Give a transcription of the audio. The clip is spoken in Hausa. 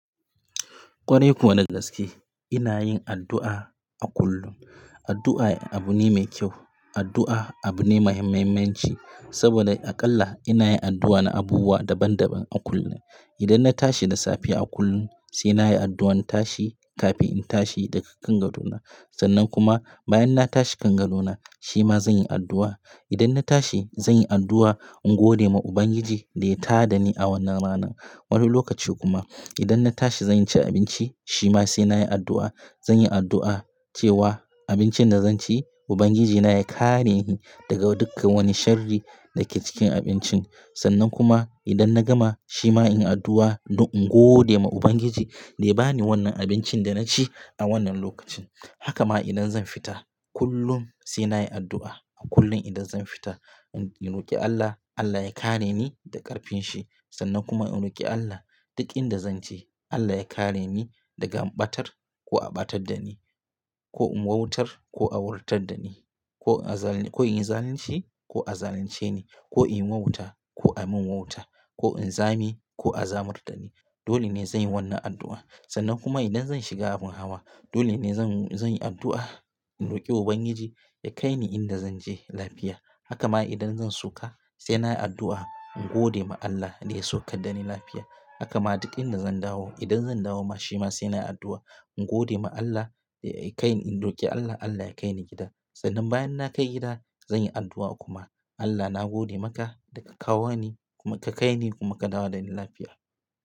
Kwarai kuwa da gaske ina yin addu'a a kullum. Addu'a abu ne mai kyau. Addu'a abu ne mai muhimmanci saboda aƙalla ina yin addu'a na abubuwa daban daban a kullum. Idan na tashi da safe a kullum sai na yi addu'an tashi kafin in tashi daga kan gadona. Sannan kuma bayan na tashi kan gadona shi ma zan yi addu'a. Idan na tashi zan yi addu'a in gode ma Ubangiji da ya tada ni a wannan ranan. Wani lokaci kuma idan na tashi zan ci abinci shi ma sai na yi addu'a. Zan yi addu'a cewa abincin da zan ci Ubangijina ya kare ni daga duka wani sharri da ke cikin abincin. Sannan kuma idan na gama shi ma in yi addu'a don in gode ma Ubangiji da ya ba ni wannan abincin da na ci a wannan lokacin. Haka ma idan zan fita kullum sai na yi addu'a. A kullum idan zan fita in roki Allah, Allah ya kare ni da ƙarfinshi sannan kuma in roki Allah duk inda zan je Allah ya kare ni daga ɓatar ko a ɓatar da ni, ko in wautar ko a wautar da ni, ko in yi zalunci ko a zalunce ni, ko in yi wauta ko a min wauta, ko in zame ko a zamar da ni. Dole ne zan yi wannan addu'a. Sannan kuma idan zan shiga abin hawa dole ne zan, zan yi addu'a in roki Ubangiji ya kai ni inda zan je lafiya. Haka ma idan zan soka sai na yi addu'a in gode ma Allah da ya sokar da ni lafiya. Haka ma duk inda zan dawo idan zan dawo ma shi ma sai na yi addu'a in gode ma Allah da ya kai ni, in roki Allah Allah ya kai ni gida. Sannan bayan na kai gida zan yi addu'a kuma Allah na gode maka da ka kawo ni kuma ka kai ni kuma ka dawo da ni lafiya.